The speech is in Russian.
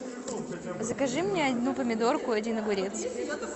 закажи мне одну помидорку и один огурец